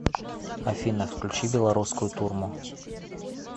афина включи беларускую турму